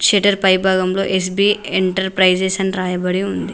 Shutter పై భాగంలో S B enterprises అని రాయబడి ఉంది.